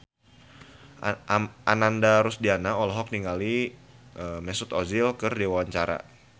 Ananda Rusdiana olohok ningali Mesut Ozil keur diwawancara